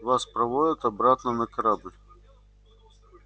вас проводят обратно на корабль